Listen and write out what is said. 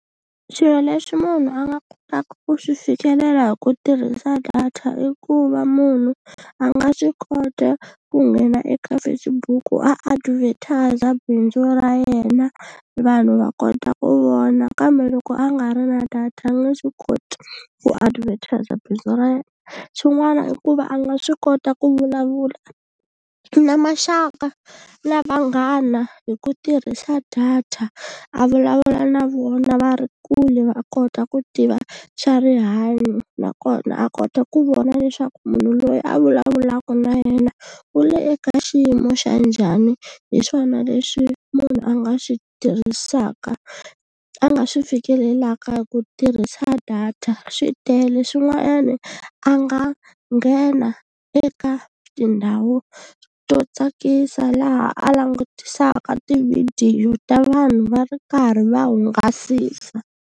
Swilo leswi munhu a nga kotaka ku swi fikelela hi ku tirhisa data i ku va munhu a nga swi kota ku nghena eka Facebook ku advertiser bindzu ra yena vanhu va kota ku vona kambe loko a nga ri na data a nge swi koti ku advertiser bindzu ra yena, swin'wana i ku va a nga swi kota ku vulavula na maxaka na vanghana hi ku tirhisa data a vulavula na vona va ri kule va kota ku tiva xa rihanyo nakona a kota ku vona leswaku munhu loyi a vulavulaka na yena u le eka xiyimo xa njhani hi swona leswi munhu a nga swi tirhisaka a nga swi fikelelaka hi ku tirhisa data, swi tele swin'wanyani a nga nghena eka tindhawu to tsakisa laha a langutisaka tivhidiyo ta vanhu va ri karhi va hungasisa.